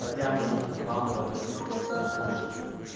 хотя может у хантера похожий